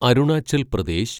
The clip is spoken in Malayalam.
അരുണാചൽ പ്രദേശ്